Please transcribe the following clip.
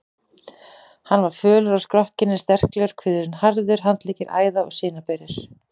Hann var fölur á skrokkinn en sterklegur, kviðurinn harður, handleggir æða- og sinaberir.